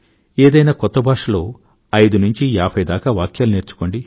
ఏదైనా కొత్త భాష లో ఐదు నుండి ఏభై దాకా వాక్యాలు నేర్చుకోండి